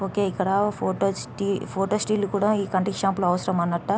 okay ఇక్కడ photo స్టి photo still కూడా ఈ కటింగ్ షాప్ అవసరంనట్ట